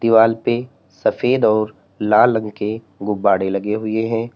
दीवाल पे सफेद और लाल रंग के गुब्बारे लगे हुए हैं।